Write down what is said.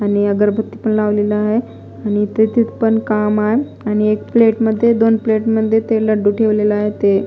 आणि अगरबत्ती पण लावलेला आहे आणि इथे तेथे पण काम आहे आणि एक प्लेट मध्ये दोन प्लेट मध्ये ते लड्डू ठेवलेला आहे ते--